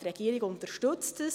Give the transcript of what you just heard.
Die Regierung unterstützt das.